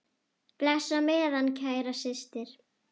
Bless á meðan, kæra systir.